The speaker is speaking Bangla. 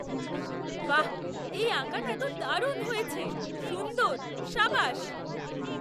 বাহ্! এই আঁকাটা তো দারুণ হয়েছে, সুন্দর! সাবাশ!